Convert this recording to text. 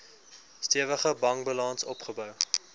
stewige bankbalans opgebou